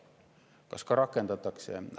Kas ka rakendatakse?